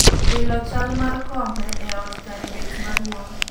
Wilo chal mar kombe e ot kar bet maduong'